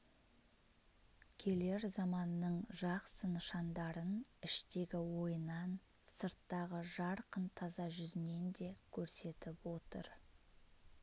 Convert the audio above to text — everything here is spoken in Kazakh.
келер заманның жақсы нышандарын іштегі ойынан сырттағы жарқын таза жүзінен де көрсетіп отыр